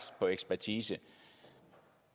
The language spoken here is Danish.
på ekspertise